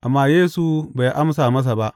Amma Yesu bai amsa masa ba.